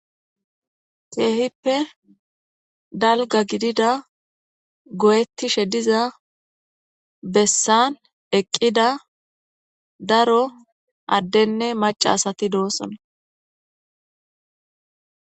Kehipe dalga gidida guyetishe diza besan eqida daro adenne maca asati dosona